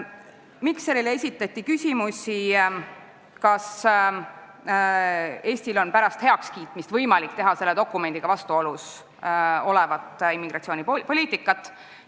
Mikserile esitati küsimusi, kas Eestil on pärast heakskiitmist võimalik teha selle dokumendiga vastuolus olevat immigratsioonipoliitikat.